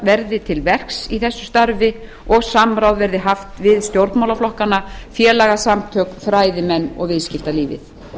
verði til verks í þessu starfi og samráð verði haft við stjórnmálaflokkana félagasamtök fræðimenn og viðskiptalífið